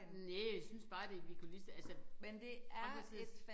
Næ jeg synes bare det vi kunne ligeså altså for ikke at sige